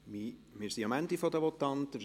Wir sind am Ende der Votanten angelangt.